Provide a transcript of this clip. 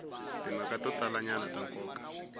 timhaka to talanyana ta nkoka